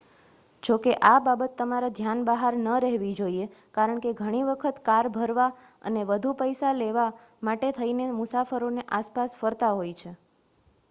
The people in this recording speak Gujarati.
જો કે આ બાબત તમારા ધ્યાન બહાર ન રહેવી જોઈએ કારણકે ઘણી વખત કાર ભરવા અને વધુ પૈસા લેવા માટે થઈને મુસાફરોને આસપાસ ફરતા હોય છે